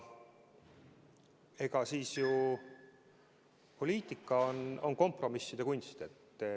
Eks poliitika ole kompromisside kunst.